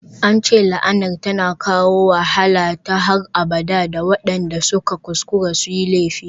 An ce la'anar tana kawo wahala ta har abada ga waɗanda suka kuskura su yi laifi.